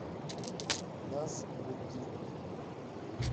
назмутдинов